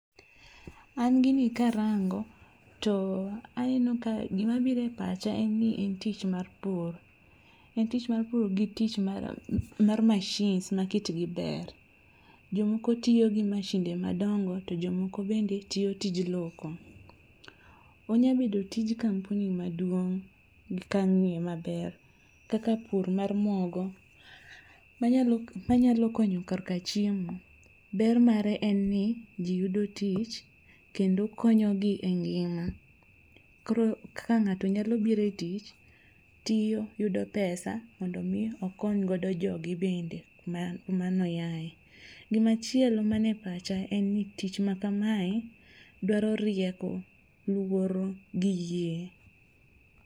An gini karango to aneno ka gima bire pacha en ni en tich mar pur. En tich mar pur gi tich mar mashins ma kitgi ber. Jomoko tiyo gi mashinde madongo to jomoko bende tiyo tij loko. Onyabedo tij kampuni maduong' gi kamnie maber. Kaka pur mar mogo manyalo konyo korka chiemo. Ber mare en ni ji yudo tich, kendo konyogi e ngima. Koro kaka ng'ato nyalo bire tich, tiyo yudo pesa mondo mi okony godo jog gi bende kuma kuma noyae. Gimachielo manepacha en ni tich ma kamae dwaro rieko, luoro gi yie.